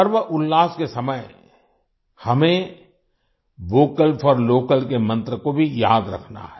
पर्वउल्लास के समय हमें वोकल फोर लोकल के मंत्र को भी याद रखना है